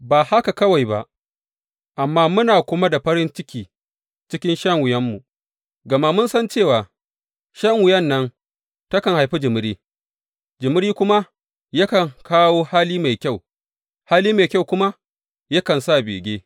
Ba haka kawai ba, amma muna kuma da farin ciki cikin shan wuyanmu, gama mun san cewa shan wuyan nan takan haifi jimiri; jimiri kuma yakan kawo hali mai kyau; hali mai kyau kuma yakan sa bege.